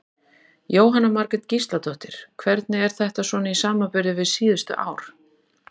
Jóhanna Margrét Gísladóttir: Hvernig er þetta svona í samanburði við síðustu ár?